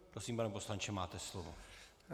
Prosím, pane poslanče, máte slovo.